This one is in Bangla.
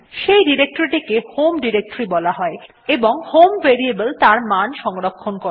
সেই ডিরেক্টরীটি কে হোম ডিরেক্টরী বলা হয় এবং হোম ভেরিয়েবল তার মান সংরক্ষণ করে